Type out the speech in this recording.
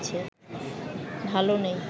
ভালো নেই